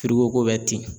Foroko bɛ ten